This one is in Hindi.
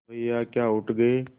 भैया क्या उठ गये